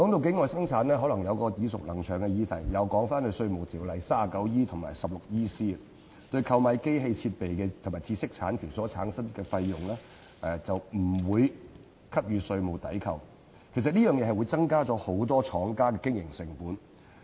境外生產涉及一個耳熟能詳的議題，即根據《稅務條例》第 39E 條及第 16EC 條，對購買機器設備及知識產權所產生的費用不予以稅務抵扣，增加很多廠家的經營成本。